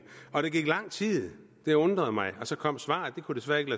og der gik lang tid det undrede mig og så kom svaret det kunne desværre ikke